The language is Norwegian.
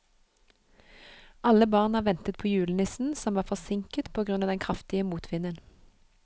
Alle barna ventet på julenissen, som var forsinket på grunn av den kraftige motvinden.